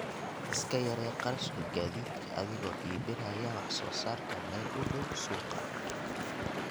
Iska yaree kharashka gaadiidka adigoo iibinaya wax soo saarka meel u dhow suuqa.